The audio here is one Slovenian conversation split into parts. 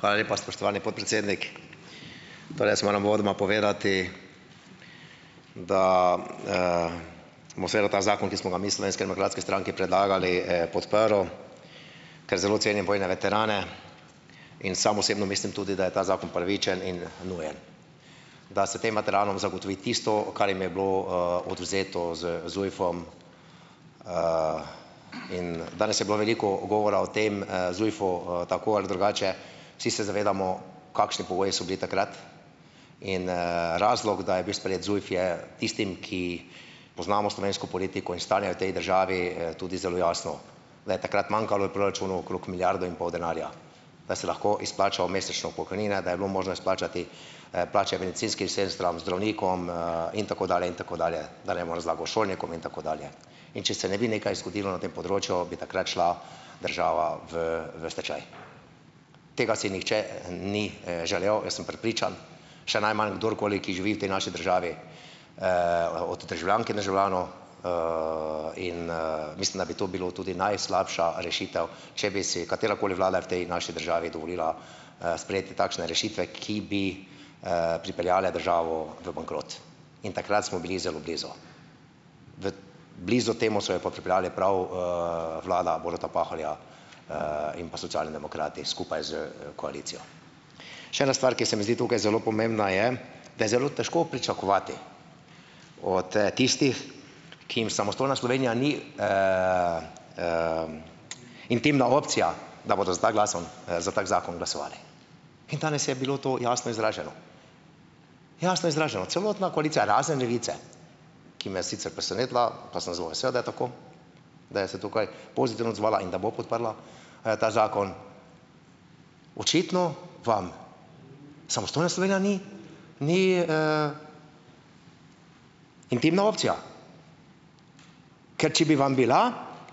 Hvala lepa, spoštovani podpredsednik. Torej, jaz moram uvodoma povedati, da vseeno ta zakon, ki smo ga mi v Slovenski demokratski stranki predlagali, podprl. Ker zelo cenim vojne veterane in sam osebno mislim tudi, da je ta zakon pravičen in nujen. Da se tem madranom zagotovi tisto, kar jim je bilo odvzeto z ZUJF-om, in danes je bilo veliko govora o tem ZUJF-u tako ali drugače. Vsi se zavedamo, kakšni pogoji so bili takrat, in razlog, da je bil sprejet ZUJF je tistim, ki poznamo slovensko politiko in stanje v tej državi, tudi zelo jasno, da je takrat manjkalo proračunu okrog milijardo in pol denarja. Da se lahko izplača v mesečno pokojnina, da je bilo možno izplačati plače bencinskim sestram, zdravnikom in tako dalje in tako dalje, da ne bom razlagal, šolnikom in tako dalje. In če se ne bi nekaj zgodilo na tem področju, bi takrat šla država v, v stečaj. Tega si nihče ni želel, jaz sem prepričan, še najmanj kdorkoli, ki živi v tej naši državi, od državljanke in državljanov in mislim, da bi to bilo tudi najslabša rešitev, če bi si katerakoli Vlada v tej naši državi dovolila sprejeti takšne rešitve, ki bi pripeljale državo v bankrot. In takrat smo bili zelo blizu. V blizu temu so jo pa pripeljale prav vlada Boruta Pahorja in pa Socialni demokrati skupaj s koalicijo. Še ena stvar, ki se mi zdi tukaj zelo pomembna je, da je zelo težko pričakovati od tistih, ki jim samostojna Slovenija ni intimna opcija, da bodo z ta za tak zakon glasovali. In danes je bilo to jasno izraženo. Jasno izraženo. Celotna koalicija, razen Levice, ki me je sicer presenetila, pa sem zelo vesel, da je tako, da je se tukaj pozitivno odzvala in bo podprla ta zakon. Očitno vam samostojna Slovenija ni, ni intimna opcija. Ker če bi vam bila,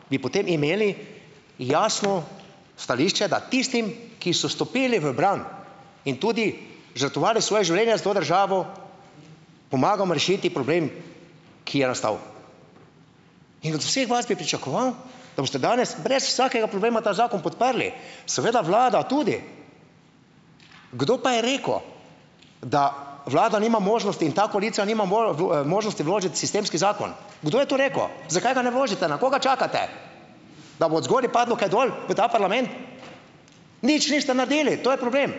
bi potem imeli jasno stališče, da tistim, ki so stopili v bran in tudi žrtvovali svoja življenja za to državo, pomagamo rešiti problem ki je nastal. In od vseh vas bi pričakoval, da boste danes brez vsakega problema ta zakon podprli. Seveda Vlada tudi. Kdo pa je rekel, da Vlada nima možnosti in ta koalicija nima nima možnosti vložiti sistemski zakon. Kdo je to rekel? Zakaj ga ne vložite, na koga čakate? Da bo od zgoraj padlo kaj dol, v ta parlament? Nič niste naredili, to je problem!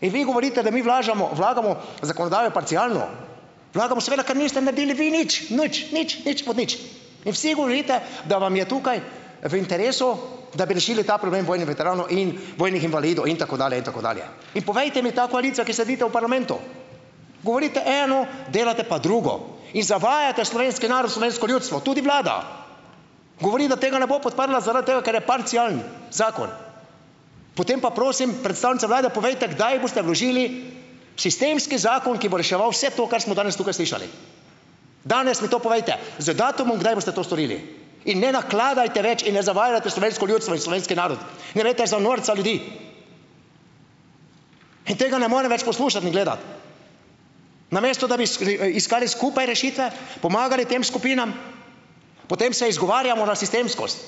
In vi govorite, da mi vlagamo zakonodajo parcialno. Vlagamo, ker seveda vi niste naredili nič. Nič, nič, nič, nič od nič. In vsi govorite, da vam je tukaj v interesu, da bi rešili ta problem vojnih veteranov in vojnih invalidov in tako dalje in tako dalje. In povejte mi, ta koalicija, ki sedite v parlamentu. Govorite eno, delate pa drugo. In zavajate slovenski narod, slovensko ljudstvo. Tudi Vlada. Govori, da tega ne bo podprla, zaradi tega, ker je parcialen. Zakon. Potem pa prosim, predstavnica Vlade, povejte, kdaj boste vložili sistemski zakon, ki bo reševal vse to, kar smo danes tukaj slišali. Danes mi to povejte. Z datumom, kdaj boste to storili. In ne nakladajte več in ne zavajajte slovensko ljudstvo in slovenski narod, ne imejte za norca ljudi. In tega ne morem več poslušati in gledati. Namesto da bi iskali skupaj rešitve, pomagali tem skupinam, potem se izgovarjamo na sistemskost.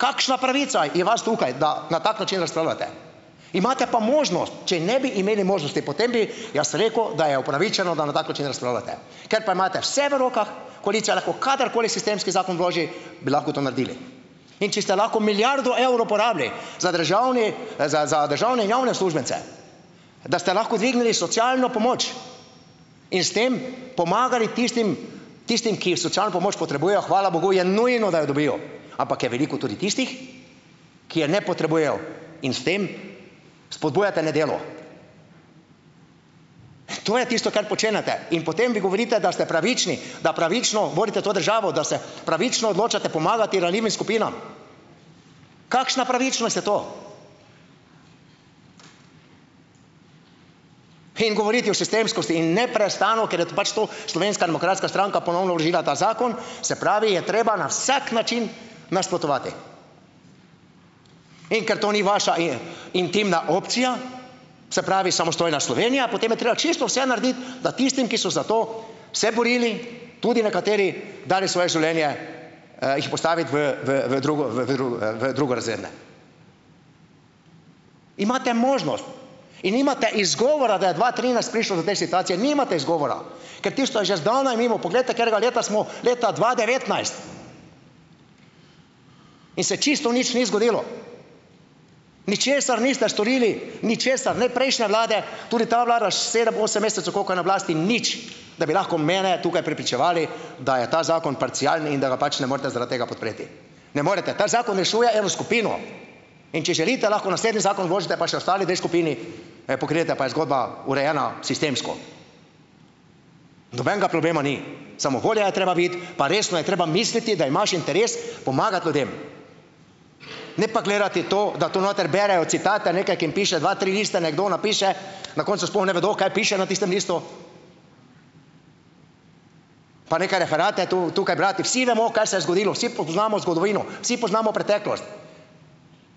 Kakšna pravica je vas tukaj, da na tak način razpravljate? Imate pa možnost, če ne bi imeli možnosti, potem bi, jaz sem rekel, da je upravičeno, da na tak način razpravljate. Ker pa imate vse v rokah, koalicija lahko kadarkoli sistemski zakon vloži, bi lahko to naredili. In če ste lahko milijardo evrov porabili za državni, za, za državne in javne uslužbence, da ste lahko vzdignili socialno pomoč in s tem pomagali tistim, tistim, ki socialno pomoč potrebujejo, hvala bogu je nujno, da jo dobijo. Ampak je veliko tudi tistih, ki je ne potrebujejo in s tem spodbujate nedelo. To je tisto, kar počenjate. In potem vi govorite, da ste pravični, da pravično volite to državo, da se pravično odločate pomagati ranljivim skupinam. Kakšna pravičnost je to? In govoriti o sistemskosti in neprestano, ker je pač to Slovenska demokratska stranka ponovno vložila ta zakon, se pravi je treba na vsak način nasprotovati. In, ker to ni vaša intimna opcija, se pravi samostojna Slovenija, potem je treba čisto vse narediti, da tistim, ki so za to se borili, tudi nekateri dali svoje življenje jih postaviti v, v, v drugo-, v v drugorazredne. Imate možnost in nimate izgovora, da je dva trinajst prišlo do te situacije. Nimate izgovora. Ker tisto je že zdavnaj mimo. Poglejte, katerega leta smo, leta dva devetnajst. In se čisto nič ni zgodilo. Ničesar niste storili, ničesar. Ne prejšnje vlade, tudi ta vlada s sedem, osem mesecev, koliko je na oblasti, nič, da bi lahko mene tukaj prepričevali, da je ta zakon parcialni in da ga pač ne morete zaradi tega podpreti. Ne morete. Ta zakon rešuje eno skupino. In če želite, lahko naslednji zakon vložite pa še ostali dve skupini pokrijete, pa je zgodba urejena sistemsko. Nobenega problema ni. Samo volja je treba biti, pa resno je treba misliti, da imaš interes pomagati ljudem. Ne pa gledati to, da kdo tu noter berejo citate, nekako jim piše dva, tri liste kdo napiše, na koncu sploh ne vedo, kaj piše na tistem listu. Pa neke referate tukaj brati. Vsi vemo, kaj se je zgodilo. Vsi poznamo zgodovino, vsi poznamo preteklost.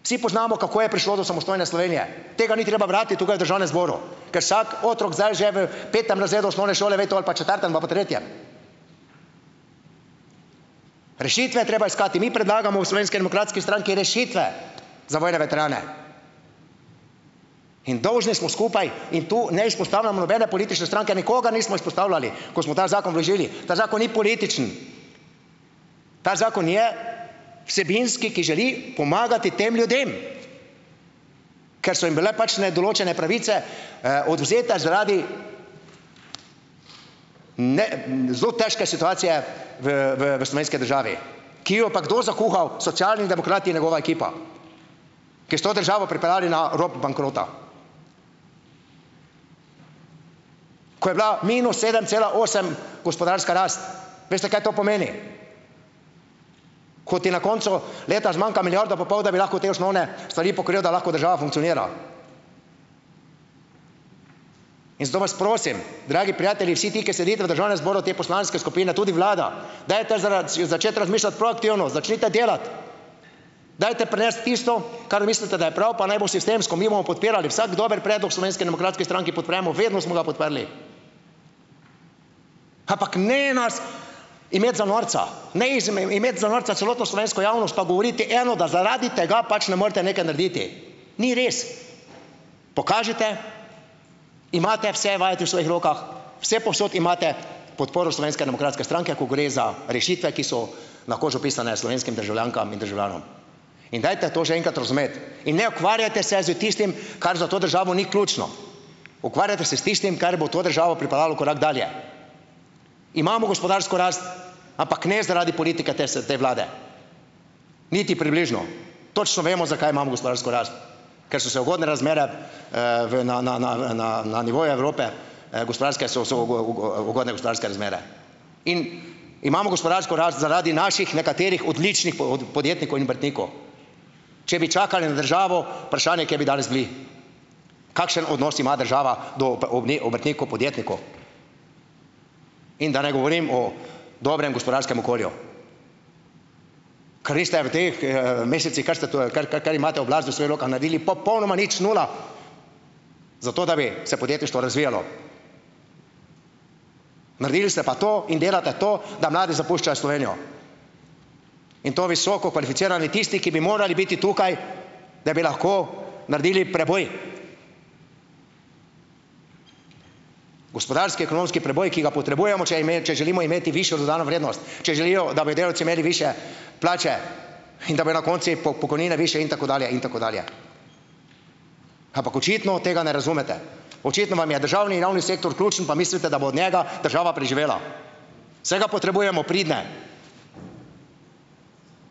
Vsi poznamo, kako je prišlo do samostojne Slovenije. Tega ni treba brati tukaj v Državnem zboru. Ker vsak otrok zdaj že v petem razredu osnovne šole ve to, ali pa četrtem ali pa tretjem. Rešitve je treba iskati. Mi predlagamo Slovenski demokratski stranki rešitve za vojne veterane. In dolžni smo skupaj in tu ne izpostavljamo nobene politične stranke, nikogar nismo izpostavljali, ko smo ta zakon vložili. Ta zakon ni političen. Ta zakon je vsebinski, ki želi pomagati tem ljudem. Ker so jim bile pač določene pravice odvzete zaradi, ne, zelo težko situacije v, v, v slovenski državi, ki jo pa kdo zakuhal? Socialni demokrati in njegova ekipa. Ki so državo pripeljali na rob bankrota. Ko je bila minus sedem cela osem gospodarska rast, veste, kaj to pomeni? Ko ti na koncu leta zmanjka milijardo pa pol, da bi lahko te osnovne stvari pokril, da lahko država funkcionira. In zato vas prosim, dragi prijatelji, vsi ti, ki sedite v Državnem zboru te poslanske skupine, tudi Vlada, dajte si začeti razmišljati proaktivno. Začnite delati. Dajte prinesti tisto, kar mislite, da je prav, pa naj bo sistemsko, mi bomo podpirali, vsak dober predlog Slovenski demokratski stranki podpremo, vedno smo ga podprli. Ampak ne nas imeti za norca. Ne imeti za norca celotno slovensko javnost pa govoriti eno, da zaradi tega pač ne morete nekaj narediti. Ni res. Pokažite, imate vse vajeti v svojih rokah, vse povsod imate podporo Slovenske demokratske stranke, ko gre za rešitve, ki so na kožo pisane slovenskim državljankam in državljanom. In dajte to že enkrat razumeti. In ne ukvarjajte se s tistim, kar za to državo ni ključno. Ukvarjate se s tistim, kar bo to državo pripeljalo korak dalje. Imamo gospodarsko rast, ampak ne zaradi politike te Vlade. Niti približno. Točno vemo, zakaj imamo gospodarsko rast. Ker so se ugodne razmere v na, na, na, na, na nivo Evrope gospodarske so, so u, u, u, ugodne gospodarske razmere. In imamo gospodarsko rast zaradi naših nekaterih odličnih podjetnikov in obrtnikov. Če bi čakali na državo, vprašanje, kje bi danes bili. Kakšen odnos ima država do obrtnikov, podjetnikov. In da ne govorim o dobrem gospodarskem okolju. v teh mesecih, kar se to, kar, kar, kar imate oblasti v svojih rokah, naredili poponoma nič, nula. Zato, da bi se podjetje šlo, razvijalo. Naredili ste pa to in delate to, da mladi zapuščajo Slovenijo. In to visoko kvalificirani, tisti, ki bi morali biti tukaj, da bi lahko naredili preboj. Gospodarski, ekonomski preboj, ki ga potrebujemo, če če želimo imeti višjo dodano vrednost, če želijo, da bi delavci imeli višje plače in da bojo na koncu pokojnine višje in tako dalje in tako dalje. Ampak očitno tega ne razumete. Očitno vam je državni javni sektor ključen, pa mislite, da bo od njega država preživela. Seveda potrebujemo pridne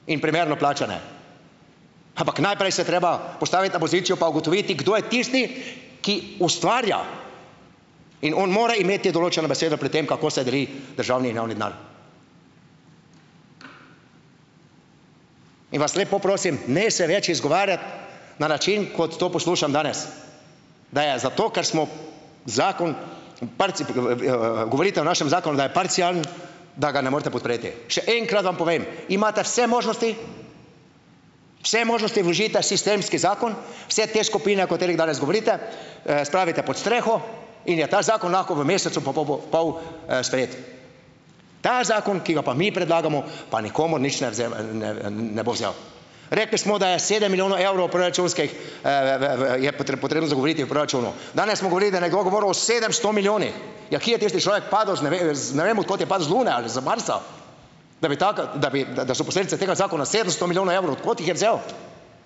in primerno plačane. Ampak najprej se treba postaviti na pozicijo pa ugotoviti, kdo je tisti, ki ustvarja. In on mora imeti določeno besedo pri tem, kako se deli državni in javni denar. In vas lepo prosim, ne se več izgovarjati na način, kot to poslušam danes. Da je zato, ker smo zakon govorite o našem zakonu, da je parcialen, da ga ne morete podpreti. Še enkrat vam povem. Imate vse možnosti, vse možnosti vložiti ta sistemski zakon, vse te skupine, o katerih danes govorite, spravite pod streho in je ta zakon lahko v mesecu pa po, pol sprejet. Ta zakon, ki ga pa mi predlagamo, pa nikomur nič ne ne, ne, ne bo vzel. Rekli smo, da je sedem milijonov evrov proračunskih je potrebno izgovoriti v proračunu. Danes smo govorili, da nekdo govoril o sedemsto milijonih. Ja, ki je tisti človek padel z ne vem od kod je padel, z Lune ali Marsa. Da bi tako, da bi, da so posledice tega zakona sedemsto milijonov evrov. Od kot jih je vzel?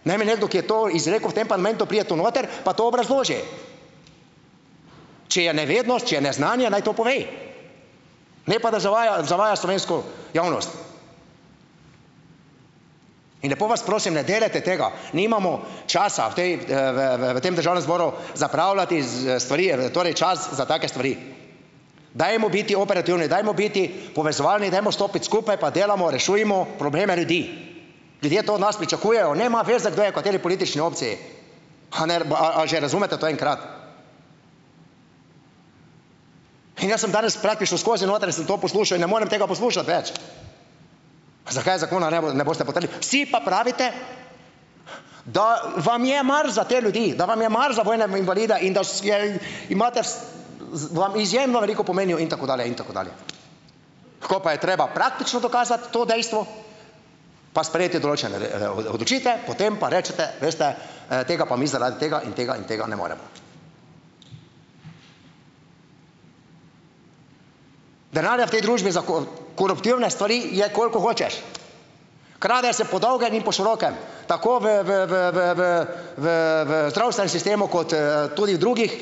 Naj mi nekdo, ki je izrekel v tem parlamentu, pride tu noter, pa to obrazloži. Če je nevednost, če je neznanje, naj to povej. Ne pa da zavaja, zavaja slovensko javnost. In lepo vas prosim, ne delajte tega. Nimamo časa v tej, v, v, v, v tem Državnem zboru zapravljati stvari, torej čas za take stvari. Dajmo biti operativni, dajmo biti povezovalni, dajmo stopiti skupaj pa delamo, rešujmo probleme ljudi. Ljudje to od nas pričakujejo, nema veze, kdo je kateri politični opciji. a, a že razumete to enkrat. In jaz sem praktično danes skozi noter, jaz sem to poslušal in ne morem tega poslušati več. Zakaj zakona ne boste podprli. Vsi pa pravite, da vam je mar za te ljudi. Da vam je mar za vojne invalide in da je, imate vam izjemno veliko pomenijo in tako dalje in tako dalje. Ko pa je treba praktično dokazati to dejstvo pa sprejeti določene o, odločitve, potem pa rečete: "Veste tega pa mi zaradi tega in tega in tega ne moremo." Denarja v tej družbi za koruptivne stvari je, koliko hočeš. Krade se po dolgem in po širokem. Tako v, v, v, v, v, v, v, v zdravstvenem sistemu kot tudi drugih.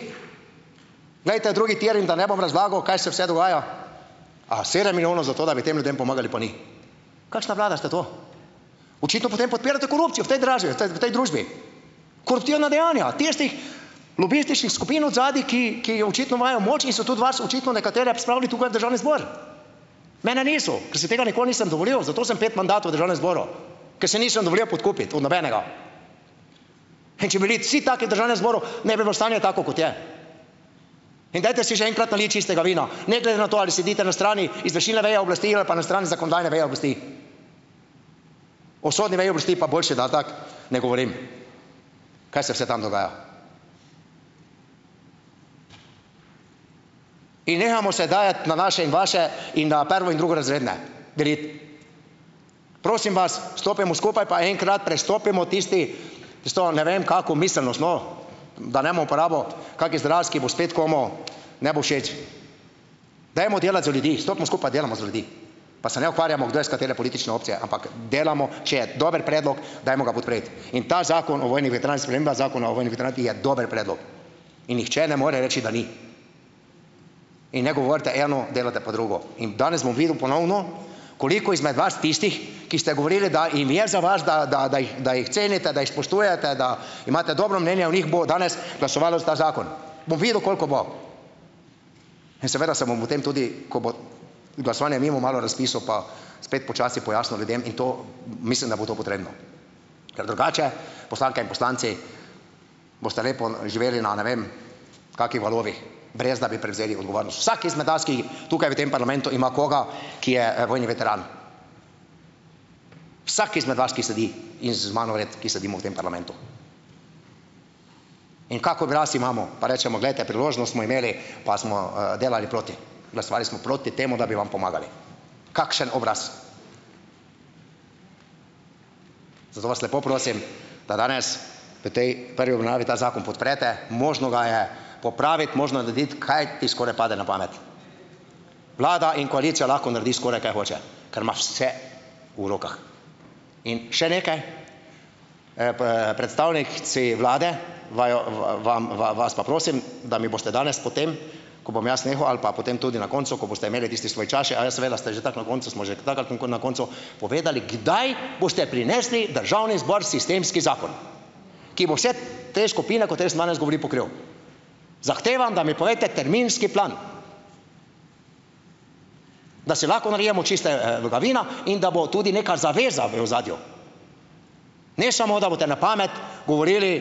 Glejte drugi tir in da ne bom razlagal, kaj se vse dogaja. A sedem milijonov za to, da bi tem ljudem pomagali pa ni. Kakšna vlada ste to? Očitno potem podpirate korupcijo v tej v tej družbi. Koruptivna dejanja tistih lobističnih skupin od zadaj, ki, ki jo očitno imajo moč in so tudi vas očitno nekatere spravili tukaj v Državni zbor. Mene niso. Ker se tega nikoli nisem dovolil, zato sem pet mandatov v Državnem zboru. Ker se nisem dovolil podkupiti, v nobenega. In če bili vsi taki v Državnem zboru, ne bi bilo stanje tako, kot je. In dajte si že enkrat naliti čistega vina, ne glede na to ali sedite na strani izvršilne veje oblasti ali pa na strani zakonodajne veje oblasti. O sodni veji oblasti pa boljše, da tako ne govorim. Kaj se vse tam dogaja. In nehamo se dajati na naše in vaše in na prvo- in drugorazredne deliti. Prosim vas, stopimo skupaj pa enkrat prestopimo tisti stol, ne vem kako miselnost, no. Da ne bom uporabo kak izraz, ki bo spet komu ne bo všeč. Dajmo delati za ljudi, stopimo skupaj, delamo za ljudi. Pa se ne ukvarjamo, kdo je s katere politične opcije, ampak delamo, če je dober predlog, dajmo ga podpreti. In ta Zakon o vojnih veteranih, sprememba Zakona o vojnih veteranih, ki je dober predlog. In nihče ne more reči, da ni. In ne govorite eno delate pa drugo. In danes bom videl ponovno koliko izmed vas tistih, ki ste govorili, da jim je za vas, da, da, da jih, da jih cenite, da jih spoštujete, da imate dobro mnenje o njih, bo danes glasovalo za ta zakon. Bom videl, koliko bo. In seveda se bom potem tudi, ko bo glasovanje mimo, malo razpisal, pa spet počasi pojasnil ljudem in to, mislim, da bo to potrebno. Ker drugače, poslanke in poslanci, boste lepo živeli na, ne vem kakih valovih, brez da bi prevzeli Vsak izmed nas, ki tukaj v tem parlamentu ima koga, ki je vojni veteran. Vsak izmed vas, ki sedi in z mano vred, ki sedimo v tem parlamentu. In kak oglas imamo, pa rečemo, glejte, priložnost smo imeli pa smo delali proti. Glasovali smo proti temu, da bi vam pomagali. Kakšen obraz. Zato vas lepo prosim, da danes v tej prvi obravnavi ta zakon podprete, možno ga je popraviti, možno je narediti, kaj ti skoraj pade na pamet. Vlada in koalicija lahko naredi skoraj, kaj hoče. Ker imaš vse v rokah. In še nekaj. predstavniki Vlade, bova, bova, vas pa prosim, da mi boste danes potem, ko bom jaz nehal ali pa potem tudi na koncu, ko boste imeli tisti svoj čas še, aja seveda ste že trdo na koncu, smo že trdno na koncu, povedali, kdaj boste prinesli Državni zbor sistemski zakon. Ki bo vse te skupine, kot jaz sem danes pokril. Zahtevam, da bi povejte terminski plan. Da si lahko nalijemo ga vina in da bo tudi neka zaveza v ozadju. Ne samo, da boste na pamet govorili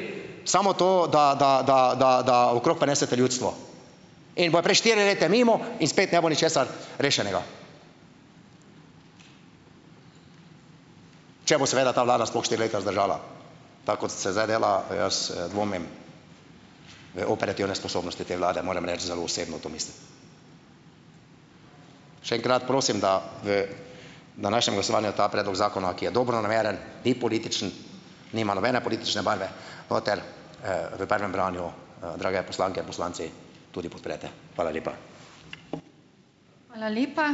samo to da, da, da, da, da okrog prinesete ljudstvo. In bojo prej štiri leta mimo in spet ne bo ničesar rešenega. Če bo seveda ta vlada sploh štiri leta zdržala. Tako kot se zdaj dela, jaz dvomim. operativne sposobnosti te vlade morem reči, zelo osebno to mislim. Še enkrat prosim, da v današnjem glasovanju ta predlog zakona, ki je dobronameren, ni političen, nima nobene politične barve noter, v prvem branju, drage poslanke in poslanci, tudi podprete. Hvala lepa.